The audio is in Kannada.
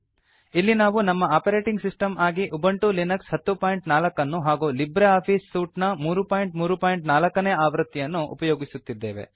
ಇಲ್ಲಿ ನಾವು ನಮ್ಮ ಆಪರೇಟಿಂಗ್ ಸಿಸ್ಟಮ್ ಆಗಿ ಉಬಂಟು ಲಿನಕ್ಸ್ 1004 ಅನ್ನು ಹಾಗೂ ಲಿಬ್ರೆ ಆಫೀಸ್ ಸೂಟ್ ನ 334 ನೇ ಆವೃತ್ತಿಯನ್ನು ಉಪಯೋಗಿಸುತ್ತಿದ್ದೇವೆ